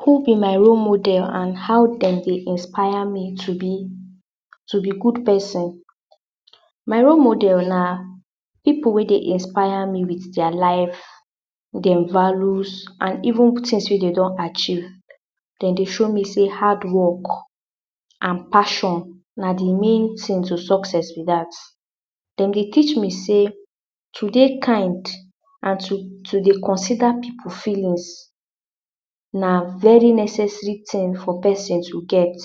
Who be my role model and how dem dey inspire me to be to be good person my role model na pipu wey dey inspire me with dia life dem values and even tings wey dey don achieve. dem dey show me sey hard work and passion na de main ting to success be dat. Dem dey teach me sey to dey kind and to to dey consider pipu feelings na very necessary ting for person to get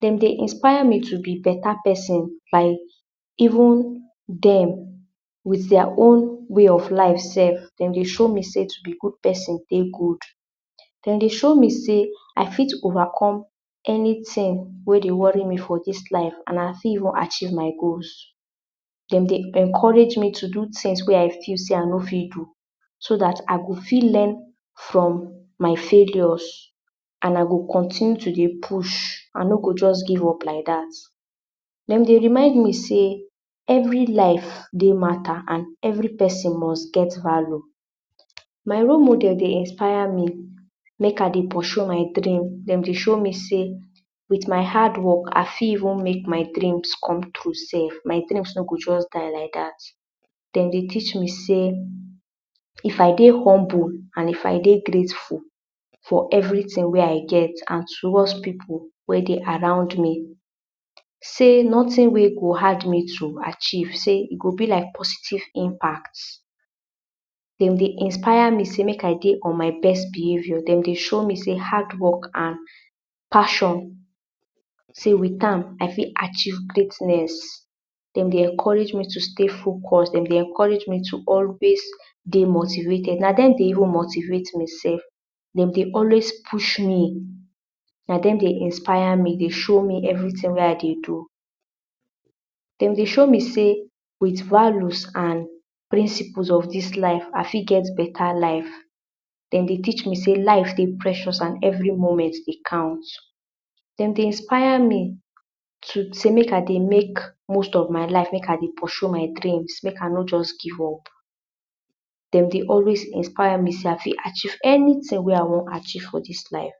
dem dey inspire me to be beta person by even dem with dia own way of life sef. dem dey show me sey to be good person dey good. dem dey show me sey I fit overcome anyting wey dey worry me for dis life and I fit even achieve my goals. dem dey encourage me to do tings wey I feel sey I no fit do so dat I go fit learn from my failures and I go continue to dey push. I no go just give up like dat dem dey remind me sey every life dey mata and every person must get value. my role model dey inspire me make I dey pursue my my dream, dem dey show me sey with hard work I fit even make my dreams come through sef. my dreams no go just die like dat. dem dey teach me sey if I dey humble and if I dey grateful for everyting wey I get and towards pipu wey dey around me sey notin wey go hard me to achieve sey e go be like positive impact dem dey inspire me sey make I dey on my best behaviour. dem dey show me sey hard work and passion sey with am sey I fit achieve greatness. dem dey encourage me to stay focused dem dey encourage me to always dey motivated. na dem dey even motivate me sef. dem dey always push me na dem dey inspire me dey show me everyting wey I dey do na dem dey show me sey with values and principles of dis life, I fit get beta life. dem dey teach me sey life dey precious and every moment dey count dem dey inspire me to sey make I dey make most of my life make I dey pursue my dreams make I no just give up. Dem dey always inspire me sey I fit achieve anyting wey I wan achieve for dis life.